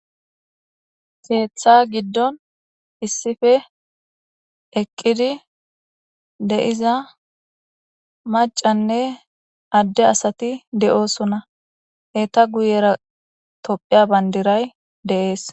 Karetha gidon eqid de'za macanne Ade asat de'osona, eta guyera tophiya Bandray de'es.